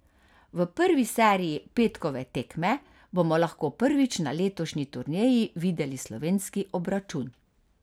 V prvi seriji petkove tekme bomo lahko prvič na letošnji turneji videli slovenski obračun.